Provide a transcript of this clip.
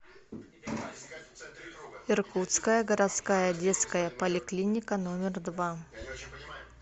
иркутская городская детская поликлиника номер два